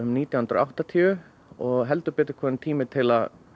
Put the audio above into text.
nítján hundruð og áttatíu og heldur betur kominn tími til að